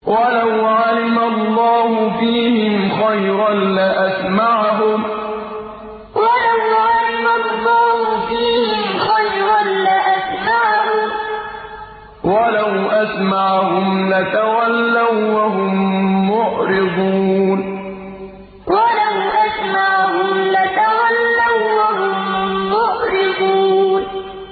وَلَوْ عَلِمَ اللَّهُ فِيهِمْ خَيْرًا لَّأَسْمَعَهُمْ ۖ وَلَوْ أَسْمَعَهُمْ لَتَوَلَّوا وَّهُم مُّعْرِضُونَ وَلَوْ عَلِمَ اللَّهُ فِيهِمْ خَيْرًا لَّأَسْمَعَهُمْ ۖ وَلَوْ أَسْمَعَهُمْ لَتَوَلَّوا وَّهُم مُّعْرِضُونَ